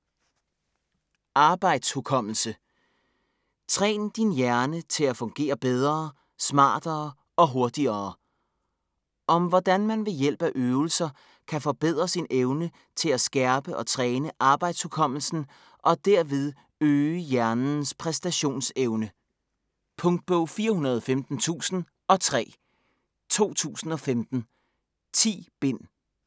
Arbejdshukommelse: Træn din hjerne til at fungere bedre, smartere og hurtigere Om hvordan man ved hjælp af øvelser kan forbedre sin evne til at skærpe og træne arbejdshukommelsen og derved øge hjernens præstationsevne. Punktbog 415003 2015. 10 bind.